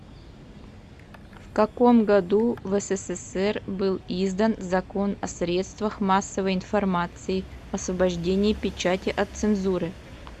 в каком году в ссср был издан закон о средствах массовой информации освобождении печати от цензуры